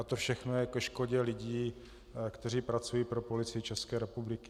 A to všechno je ke škodě lidí, kteří pracují pro Policii České republiky.